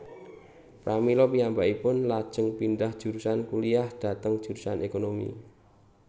Pramila piyambakipun lajeng pindhah jurusan kuliyah dhateng jurusan ékonomi